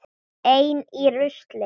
Ein í rusli.